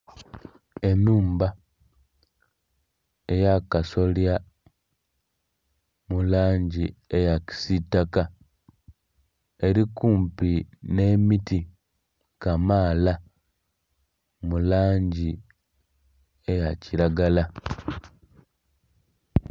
Ennhumba ey'akasolya mu langi eya kisiitaka eri kumpi n'emiti kamaala mu langi eya kiragala.